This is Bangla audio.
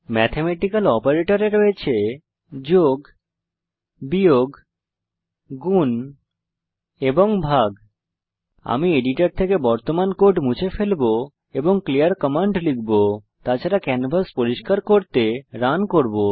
ম্যাথমেটিক্যাল গাণিতিক অপারেটরে রয়েছে যোগ বিয়োগ গুণ এবং ভাগ আমি এডিটর থেকে বর্তমান কোড মুছে ফেলবো এবং ক্লিয়ার কমান্ড লিখব তাছাড়া ক্যানভাস পরিষ্কার করতে রান করব